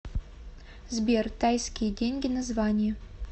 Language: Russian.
сбер тайские деньги название